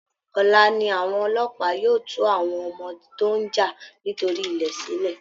Ọla ni àwọn ọlọ́pàá yóò tú àwọn ọmọ tó ń jà nítorí ilẹ̀ sílẹ̀